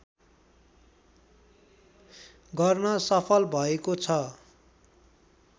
गर्न सफल भएको छ